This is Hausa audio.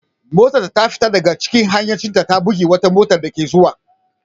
Motarta ta fita daga hayyacinta ta bugi wata motar dake tahowa.